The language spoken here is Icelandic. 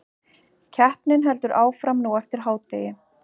Keppni heldur áfram nú eftir hádegi